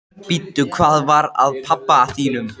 Bíddu, hvað var að pabba þínum?